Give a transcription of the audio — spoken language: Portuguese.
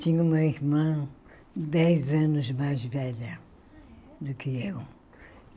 Tinha uma irmã dez anos mais velha do que eu.